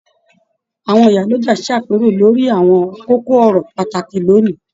Àwọn ìyálọja s'àpérò lórí àwọn kókó ọ̀rọ̀ pàtàkì l'óni.